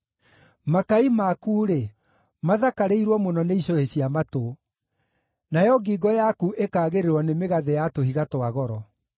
Makai maku-rĩ, mathakarĩirwo mũno nĩ icũhĩ cia matũ, nayo ngingo yaku ĩkaagĩrĩrwo nĩ mĩgathĩ ya tũhiga twa goro.